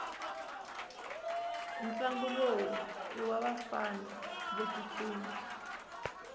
ntlangu lowu iwavafana votsutsuma